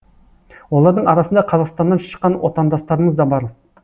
олардың арасында қазақстаннан шыққан отандастарымыз да бар